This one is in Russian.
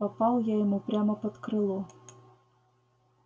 попал я ему прямо под крыло